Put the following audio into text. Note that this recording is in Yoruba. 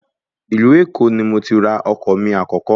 Ìlú Èkó ni mo ti ra ọkọ̀ mi àkọ́kọ́